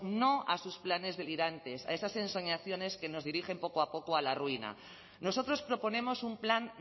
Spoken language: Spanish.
no a sus planes delirantes a esas ensoñaciones que nos dirigen poco a poco a la ruina nosotros proponemos un plan